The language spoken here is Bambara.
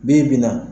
Bi bi in na